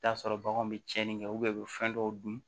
I bi t'a sɔrɔ baganw bɛ tiɲɛni kɛ u bɛ fɛn dɔw dun